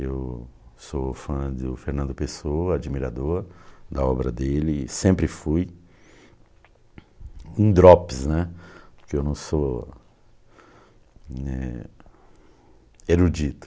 Eu sou fã de o Fernando Pessoa, admirador da obra dele, sempre fui um drops né, porque eu não sou eh erudito.